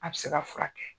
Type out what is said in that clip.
A bɛ se ka furakɛ